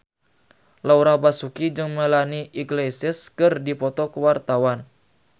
Laura Basuki jeung Melanie Iglesias keur dipoto ku wartawan